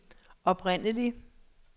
oprindelig